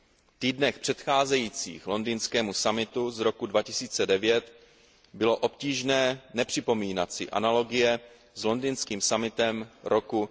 V týdnech předcházejících londýnskému summitu z roku 2009 bylo obtížné nepřipomínat si analogie s londýnským summitem roku